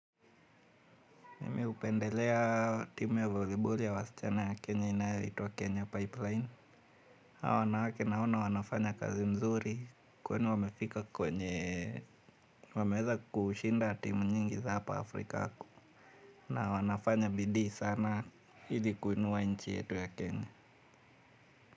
Mi hupendelea timu ya voliboli ya wasichana ya Kenya inayoitwa Kenya Pipeline. Hawa wanawake naona wanafanya kazi nzuri kweli wamefika kwenye wameweza kushinda timu nyingi za hapa Afrika na wanafanya bidoi sana ili kuinua nchi yetu ya Kenya.